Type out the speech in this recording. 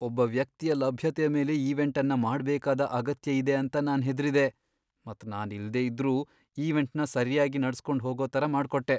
ಒಬ್ಬ ವ್ಯಕ್ತಿಯ ಲಭ್ಯತೆಯ ಮೇಲೆ ಈವೆಂಟ್ ಅನ್ನ ಮಾಡ್ಬೇಕಾದ ಅಗತ್ಯ ಇದೆ ಅಂತ ನಾನ್ ಹೆದ್ರಿದೆ ಮತ್ ನಾನ್ ಇಲ್ದೆ ಇದ್ರೂ ಈವೆಂಟ್ನ ಸರ್ಯಾಗಿ ನಡ್ಸ್ಕೊಂಡ್ ಹೋಗೋ ತರ ಮಾಡ್ಕೊಟ್ಟೆ.